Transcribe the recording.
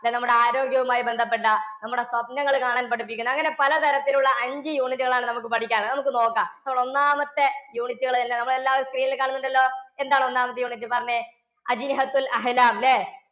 നമ്മുടെ ആരോഗ്യവുമായി ബന്ധപ്പെട്ട, നമ്മുടെ സ്വപ്‌നങ്ങൾ കാണാൻ പഠിപ്പിക്കുന്ന, അങ്ങനെ പലതരത്തിൽ ഉള്ള അഞ്ചു unit കൾ ആണ് നമുക്ക് പഠിക്കാൻ ഉള്ളെ. നമുക്ക് നോക്കാം, നമ്മുടെ ഒന്നാമത്തെ unit കൾ തന്നെ, നമ്മൾ എല്ലാവരും screen ൽ കാണുന്നുണ്ടല്ലോ. എന്താണ് ഒന്നാമത്തെ unit പറഞ്ഞെ? അല്ലെ?